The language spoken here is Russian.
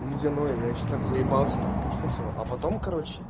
ледяное я ещё так заебался так пить хотел а потом короче